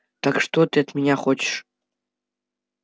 так что ты от меня хочешь